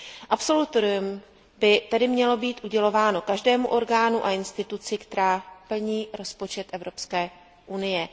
Absolutorium by tedy mělo být udělováno každému orgánu a instituci, která plní rozpočet Evropské unie.